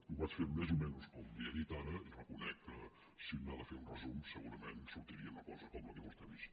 ho vaig fer més o menys com li he dit ara reconec que si un n’ha de fer un resum segurament sortiria una cosa com la que vostè ha vist